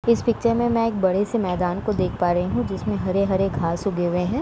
इस पिक्चर में मैं एक बड़े से मैदान को देख पा रही हूँ जिसमें हरे-हरे घास उगे हुए हैं।